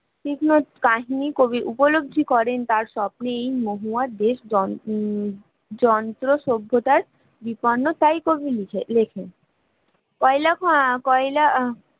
কৃষ্ণর কাহিনী কবির উপলব্ধি করেন তাঁর স্বপ্নের মহুয়ার দেশ গণতন্ত্র সভ্যতার, বিপন্নতায় কর্মী লিখে লেখেন, কয়লা কয়লা